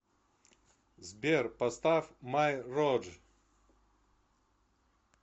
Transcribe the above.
сбер поставь май роад